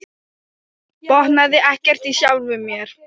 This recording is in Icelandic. Botnaði ekkert í sjálfum sér.